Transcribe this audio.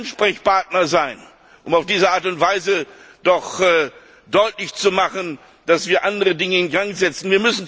Wir müssen Ansprechpartner sein, um auf diese Art und Weise deutlich zu machen, dass wir andere Dinge in Gang setzen.